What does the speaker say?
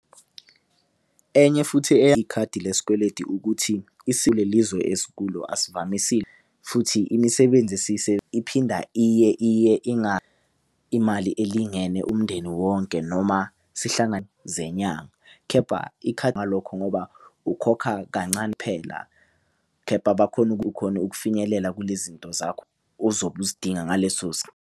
Enye futhi eyikhadi lesikweleti ukuthi kule lizwe esikulo asivamisile futhi imisebenzi iphinda iye, iye imali elingene umndeni wonke noma zenyanga. Khepha ngalokho ngoba ukhokha kancane phela khepha ukhona ukufinyelela kule zinto zakho uzobe uzidinga ngaleso .